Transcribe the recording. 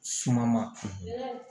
Suma ma